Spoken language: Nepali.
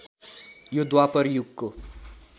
यो द्वापर युगको